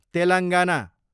Telangana